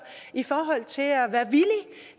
i forhold til at være villig